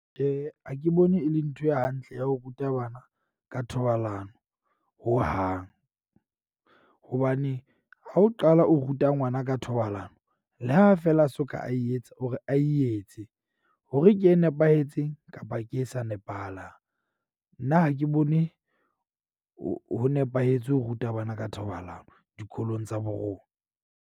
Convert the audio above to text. Tjhe, ha ke bone e le ntho e hantle ya ho ruta bana ka thobalano hohang. Hobane ha o qala o ruta ngwana ka thobalano. Le ha feela a soka a e etsa ore a e etse hore ke e nepahetseng kapa ke e sa nepahalang. Nna ha ke bone ho ho nepahetse ho ruta bana ka thobalano dikolong tsa bo rona.